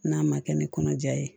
N'a ma kɛ ni kɔnɔja ye